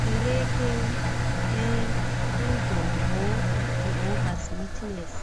Kereke ye'Kingdom hall of Jehovah's witness'.